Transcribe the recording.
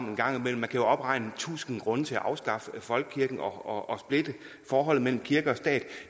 en gang imellem man kan opregne tusind grunde til at afskaffe folkekirken og splitte forholdet mellem kirke og stat